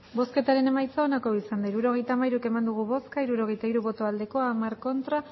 hirurogeita hamairu eman dugu bozka hirurogeita hiru bai hamar ez